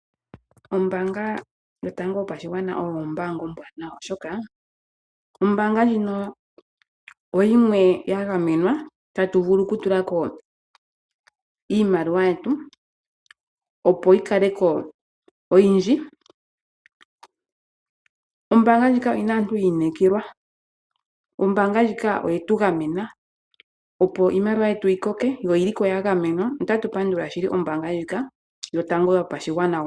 Ombaanga yo tango yopashigwana oyo ombaanga ombwaanawa, oshoka ombaanga ndjino oyomwe ya gamenwa, tatu vulu oku tulako iimaliwa yetu, opo yi kaleko oyindji. Ombaanga ndjika oye tu gamena, opo iimaliwa yetu, yi koke yo ya gemenwa. Ota tu pandula ombaanga ndjika yotango yopashigwana.